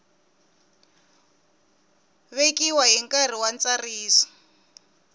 vekiwa hi nkarhi wa ntsariso